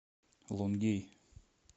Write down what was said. лонгей